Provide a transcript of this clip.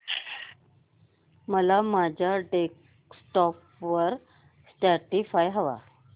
मला माझ्या डेस्कटॉप वर स्पॉटीफाय हवंय